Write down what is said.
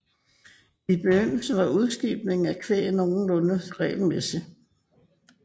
I begyndelsen var udskibningen af kvæg nogenlunde regelmæssig